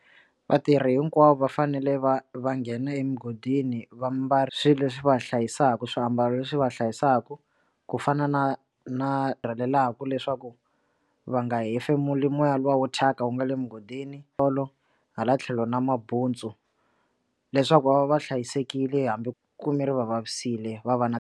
Vatirhi hinkwavo va fanele va va nghena emugodini va mbala swilo leswi va hlayisaka swiambalo leswi va hlayisaka ku fana na na rhelelaka leswaku va nga hefemula moya lowo wo thyaka wu nga le mugodini tolo hala tlhelo na mabutsu leswaku va va va hlayisekile hambi kume ri va vavisekile va va na.